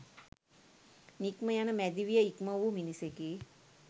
නික්මයන මැදි විය ඉක්මවූ මිනිසෙකි.